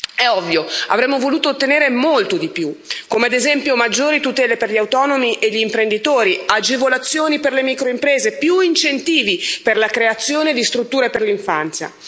È ovvio, avremmo voluto ottenere molto di più, come ad esempio maggiori tutele per gli autonomi e gli imprenditori, agevolazioni per le microimprese, più incentivi per la creazione di strutture per l'infanzia.